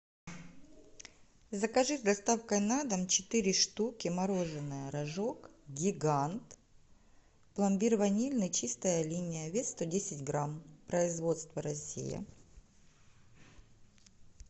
закажи с доставкой на дом четыре штуки мороженое рожок гигант пломбир ванильный чистая линия вес сто десять грамм производство россия